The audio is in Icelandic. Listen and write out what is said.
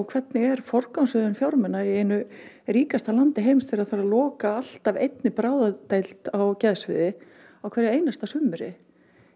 hvernig er forgangsröðun fjármuna í einu ríkasta landi heims þegar þarf að loka alltaf einni bráðadeild á geðsviði á hverj einasta sumri